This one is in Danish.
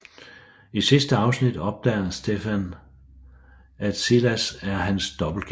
I sidste afsnit opdager Stefan at Silas er hans dobbeltgænger